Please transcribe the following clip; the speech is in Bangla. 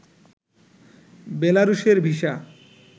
বেলারুশের ভিসা